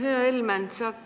Hea Helmen!